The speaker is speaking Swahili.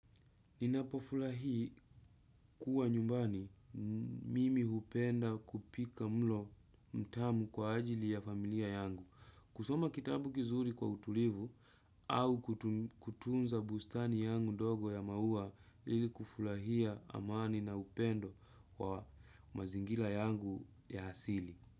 Ninapofurahii kuwa nyumbani mimi hupenda kupika mlo mtamu kwa ajili ya familia yangu. Kusoma kitabu kizuri kwa utulivu au kutunza bustani yangu ndogo ya maua ilikufurahia amani na upendo wa mazingira yangu ya asili.